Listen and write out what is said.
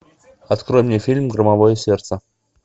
открой мне фильм громовое сердце